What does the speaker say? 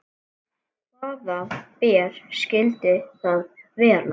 Hvaða ber skyldu það vera?